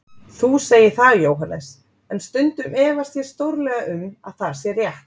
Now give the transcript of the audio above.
Þú segir það, Jóhannes, en stundum efast ég stórlega um að það sé rétt.